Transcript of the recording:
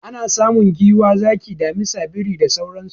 Ana samun giwa, zaki, damisa, biri da sauransu.